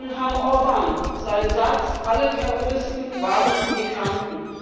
Ich erinnere an Herrn Orbán, seinen Satz Alle Terroristen waren Migranten.